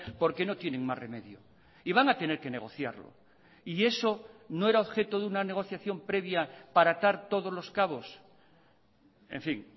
porque no tienen más remedio y van a tener que negociarlo y eso no era objeto de una negociación previa para atar todos los cabos en fin